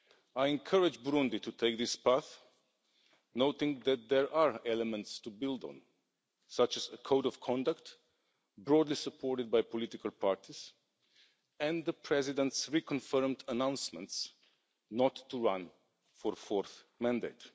I encourage Burundi to take this path, noting that there are elements to build on, such as a Code of Conduct broadly supported by political parties and the President's reconfirmed announcements not to run for a fourth mandate.